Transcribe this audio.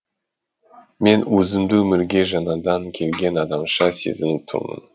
мен өзімді өмірге жаңадан келген адамша сезініп тұрмын